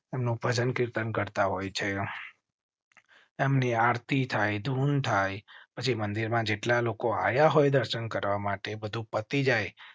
તેમ નું પૂજન કીર્તન કરતા હોય છે. એમની આરતી થાઈ ધૂન થાય પછી મંદિરમાં જેટલા લોકો આયા હોય, દર્શન કરવા માટે બધું પતી જાય.